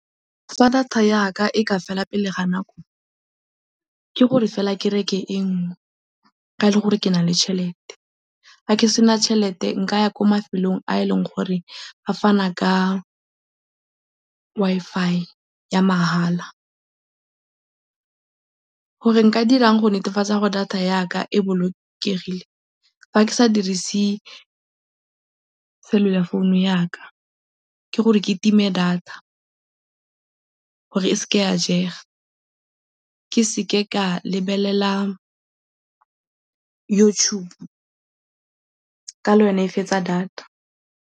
Fa data ya ka e ka fela pele ga nako, ke gore fela ke reke e nngwe fa e le gore ke na le tšhelete. Fa ke sena tšhelete nka ya kwa mafelong a eleng gore a fana ka Wi-Fi ya mahala. Gore nka dirang go netefatsa gore data ya ka e bolokegile, fa ke sa dirise cellular phone-u ya ka ke gore ke time data gore e seke ya jega, ke seke ka lebelela YouTube ka le yone e fetsa data.